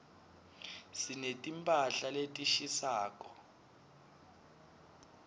sineti mphahla letishisako